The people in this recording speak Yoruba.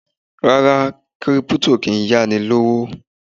Rárá, Kírípútò kì ń yá ni lówó.